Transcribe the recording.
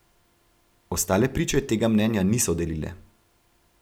Ostale priče tega mnenja niso delile.